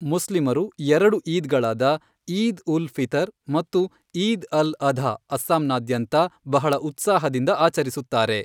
ಮುಸ್ಲಿಮರು ಎರಡು ಈದ್ಗಳಾದ, ಈದ್ ಉಲ್ ಫಿತರ್ ಮತ್ತು ಈದ್ ಅಲ್ ಅಧಾ ಅಸ್ಸಾಂನಾದ್ಯಂತ ಬಹಳ ಉತ್ಸಾಹದಿಂದ ಆಚರಿಸುತ್ತಾರೆ.